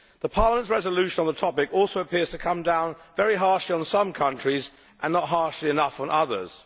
Parliament's resolution on the topic also appears to come down very harshly on some countries and not harshly enough on others.